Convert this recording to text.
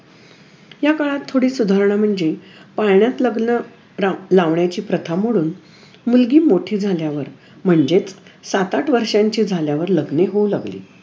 याकाळात थोडी सुधारणा म्हणजे पाळण्यात लग्न लाव लावाण्याची प्रथा मोडून मुलगी मोठी झाल्यावर म्हणजेच सात आठ वर्षाची झाल्यावर लग्ने होऊ लागली.